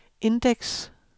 indeks